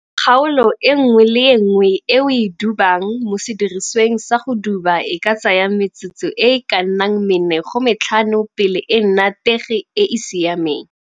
Kgaolo e nngwe le e nngwe e o e dubang mo sedirisiweng sa go duba e ka tsaya metsotso e e ka nnang 4 go 5 pele e nna tege e e siameng.